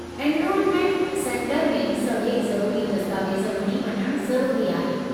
Enrolment centre में सभई ज़रूरी दस्तावेज़ खणी वञणु ज़रूरी आहे।